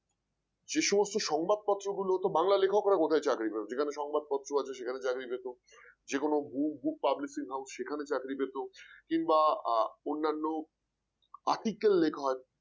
যে সমস্ত সংবাদপত্রগুলো বাংলা লেখকরা কোথায় চাকরি পাবে যেখানে সংবাদপত্র আছে সেখানে চাকরি পেতো, যেকোনো books books publishing house সেখানে চাকরি পেতো কিংবা আহ অন্যান্য articles লেখা হয়